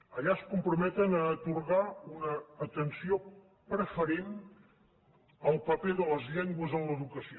allà es comprometen a atorgar una atenció preferent al paper de les llengües en l’educació